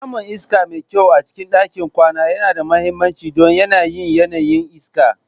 Samun iska mai kyau a cikin ɗakin kwana yana da mahimmanci don yanayin yanayin iska.